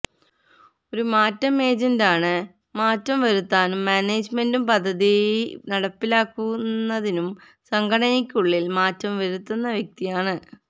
ഒരു മാറ്റം ഏജന്റ് ആണ് മാറ്റം വരുത്താനും മാനേജ്മെൻറും പദ്ധതി നടപ്പിലാക്കുന്നതിനും സംഘടനയ്ക്ക് ഉള്ളിൽ മാറ്റം വരുത്തുന്ന വ്യക്തിയാണ്